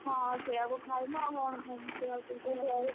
ହଁ ସେଇଆକୁ ଖାଇମୁ ଆଉ କଣ ଖାଇମୁ।